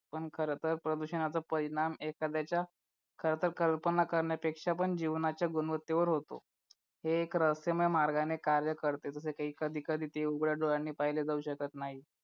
पण खरंतर प्रदूषणाचा परिणाम एखाद्याच्या खरंतर कल्पना करण्यापेक्षा पण जीवनाच्या गुणवत्तेवर होतो हे एक रहस्यमय मार्गाने कार्य करते जसं कधी कधी ते उघड्या डोळ्याने पाहिले जाऊ शकत नाही